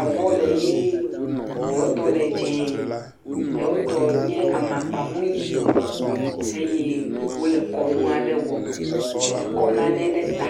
avɔ le ʋee ɖewo tɔ le dzɛ, eɖewo tɔ nye amakpa mui eye wole kɔnu aɖe wɔm eye eɖe kɔ nane ɖe ta.